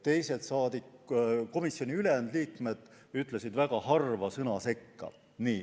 Ülejäänud komisjoni liikmed ütlesid väga harva sõna sekka.